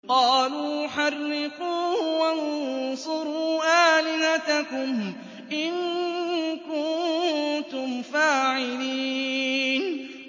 قَالُوا حَرِّقُوهُ وَانصُرُوا آلِهَتَكُمْ إِن كُنتُمْ فَاعِلِينَ